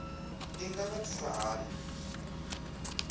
i nga vha thusa hani